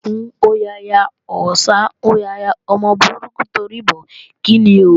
Òkún hó yaya, Ọ̀sà hó yaya, ọmọ burúkú torí bọ̀ ó, kíni ò?